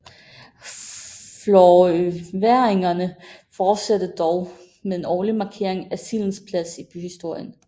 Florøværingerne fortsætter dog med en årlig markering af sildens plads i byhistorien